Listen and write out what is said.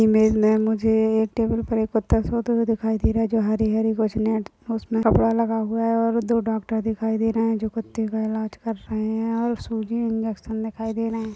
Image मे मुझे एक टेबल पे एक कुत्ता सोते हुए दिखाई दे रहा है जो हरे -हरे उसमे कपड़ा लगा हुआ है दो डॉक्टर दिखाई दे रहे है जो कुत्ते का इलाज कर रहे है और इन्जेक्शन दिखाई दे रहे है।